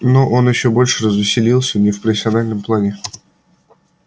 но он ещё больше развеселился не в профессиональном плане